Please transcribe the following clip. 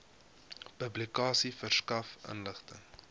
publikasie verskaf inligting